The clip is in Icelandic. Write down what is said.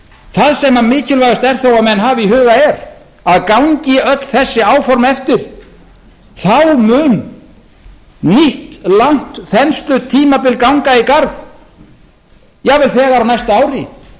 það sem mikilvægast er þó að menn hafi í huga er að gangi öll þessi áform eftir þá mun nýtt langt þenslutímabil ganga í garð jafnvel þegar á næsta